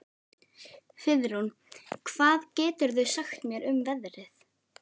Friðrún, hvað geturðu sagt mér um veðrið?